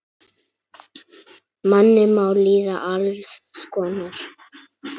Manni má líða alls konar.